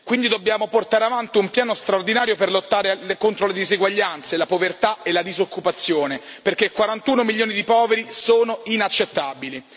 Quindi dobbiamo portare avanti un piano straordinario per lottare anche contro le diseguaglianze, la povertà e la disoccupazione, perché 41 milioni di poveri è una cifra inaccettabile.